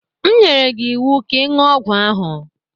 M nyere gị ịwụ ka ị ṅụọ ọgwụ ahụ!